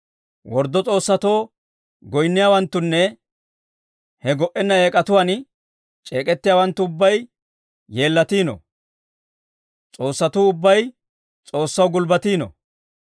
Worddo s'oossatoo goyinniyaawanttunne he go"enna eek'atuwaan c'eek'ettiyaawanttu ubbay yeellatino. S'oossatuu ubbay S'oossaw gulbbatino.